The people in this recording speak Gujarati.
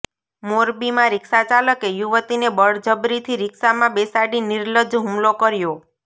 મોરબીમાં રિક્ષાચાલકે યુવતીને બળજબરીથી રિક્ષામાં બેસાડી નિર્લજ્જ હુમલો કર્યો